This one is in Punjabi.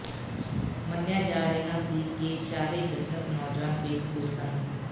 ਮੰਨਿਆ ਜਾ ਰਿਹਾ ਸੀ ਕਿ ਚਾਰੇ ਮ੍ਰਿਤਕ ਨੌਜਵਾਨ ਬੇਕਸੂਰ ਸਨ